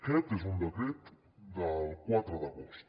aquest és un decret del quatre d’agost